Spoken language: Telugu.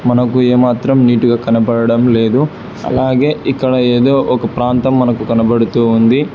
మనకు ఏమాత్రం నీటిగా కనపడడం లేదు అలాగే ఇక్కడ ఏదో ఒక ప్రాంతం మనకు కనబడుతూ ఉంది.